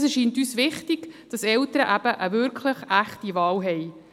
Es erscheint uns wichtig, dass Eltern wirklich eine echte Wahl haben.